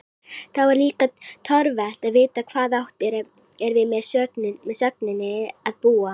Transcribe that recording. Þá er líka torvelt að vita hvað átt er við með sögninni að búa?